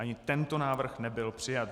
Ani tento návrh nebyl přijat.